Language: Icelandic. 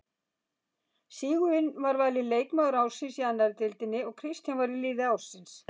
Sigurvin var valinn leikmaður ársins í annarri deildinni og Kristján var í liði ársins.